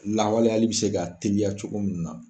Lawaleyali bi se ka teliya cogo min na